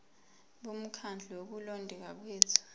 bomkhandlu wokulondeka kwethu